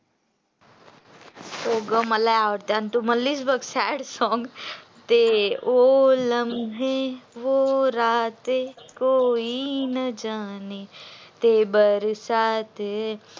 हो तू म्हणलीस तस song ते ओ लमहे वो राते कोई ना जाने ते बरसाते